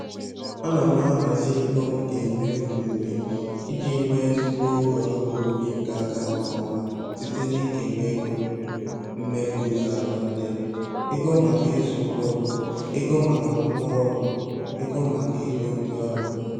Ana m ahazi ego m ga-emefu n'ubi iji nwee ezigbo oge ọrụ ubi ga-aga nke ọma site na-ikewa ego mmefu ụzọ atọ ndị a: ego maka ịzụ mkpụrụ, ego maka ngwa ọrụ, ego maka igo ndị ọrụ